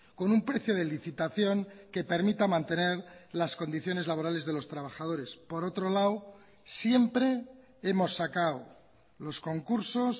con un precio de licitación que permita mantener las condiciones laborales de los trabajadores por otro lado siempre hemos sacado los concursos